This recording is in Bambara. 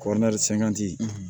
Kɔɔri sangati